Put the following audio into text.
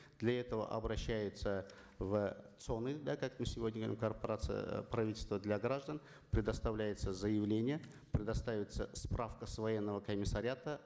для этого обращается в цон ы да как мы сегодня говорим корпорация правительство для граждан предоставляется заявление предоставится справка с военного комиссариата